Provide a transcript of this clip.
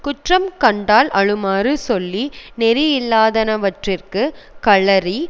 குற்றம் கண்டால் அழுமாறு சொல்லி நெறியில்லாதனவற்றிற்குக் கழறி